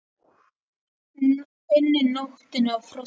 unni, nóttinni og frosthörðum heimi.